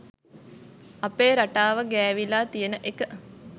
අපේ රටාව ගෑවිලා තියෙන එක